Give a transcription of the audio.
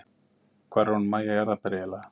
Hvar er hún Mæja jarðarber eiginlega?